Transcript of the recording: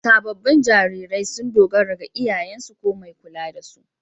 Sabobin jarirai sun dogara ga iyayensu ko mai kulla da su.